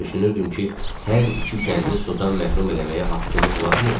Düşünürdüm ki, hər iki kəndi sudan məhrum eləməyə haqqımız varmı?